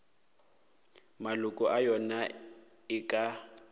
maloko a yona e ka